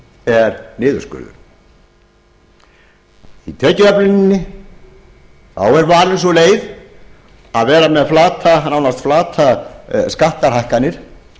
er niðurskurður í tekjuöfluninni er valin sú leið að vera með nánast flatar skattahækkanir